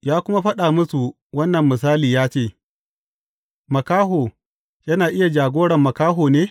Ya kuma faɗa musu wannan misali cewa, Makaho yana iya jagoran makaho ne?